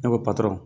Ne ko patɔrɔn